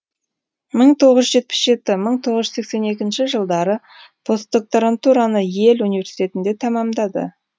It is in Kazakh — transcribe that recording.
мың тоғыз жүз жетпіс жеті мың тоғыз жүз сексен екінші жылдары постдокторантураны йель университетінде тәмамдады